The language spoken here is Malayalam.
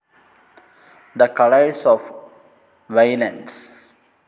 the colours of violence